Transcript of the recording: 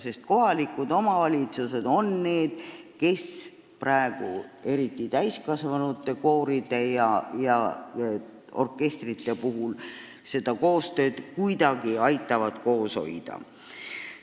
Just kohalikud omavalitsused aitavad praegu eriti täiskasvanute kooridel ja orkestritel kuidagi tegutseda.